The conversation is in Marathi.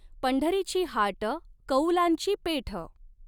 पंढरीची हाट कऊलांची पेठ।